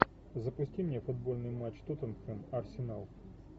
запусти мне футбольный матч тоттенхэм арсенал